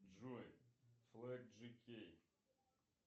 джой флэг джи кей